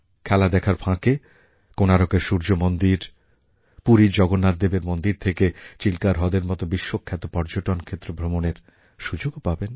খেলা দেখার ফাঁকে কোনারকের সূর্য মন্দির পুরীর জগন্নাথদেবের মন্দির থেকে চিল্কা হ্রদের মতো বিশ্বখ্যাত পর্যটনক্ষেত্র ভ্রমণের সুযোগ পাবেন